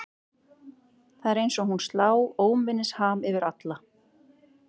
Það er eins og hún slá óminnisham yfir alla.